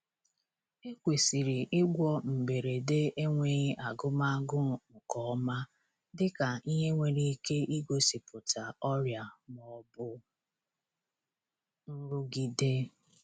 Ekwesịrị ịgwọ mberede enweghi agụm agụụ nke ọma dịka ihe nwere ike igosipụta ọrịa ma ọ bụ nrụgide.